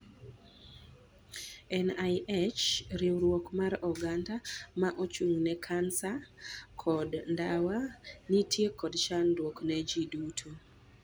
NIH: Riwruok mar oganda ma ochung' ne kansa Koto ndawa nitie kod chandruok ne ji duto.